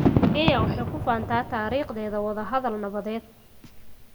Kenya waxay ku faantaa taariikhdeeda wadahadal nabadeed.